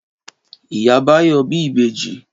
Ìyá Báyọ̀ bí ìbejì.